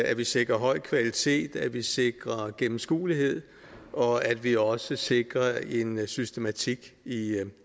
at vi sikrer høj kvalitet at vi sikrer gennemskueligheden og at vi også sikrer en systematik